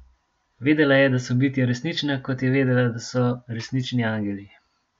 Vedela je, da so bitja resnična, kot je vedela, da so resnični angeli.